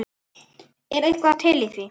Er eitthvað til í því?